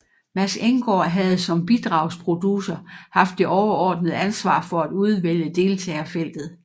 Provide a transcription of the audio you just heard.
Mads Enggaard havde som bidragsproducer haft det overordnede ansvar for at udvælge deltagerfeltet